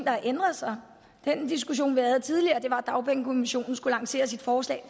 har ændret sig den diskussion vi havde tidligere var om at dagpengekommissionen skulle lancere sit forslag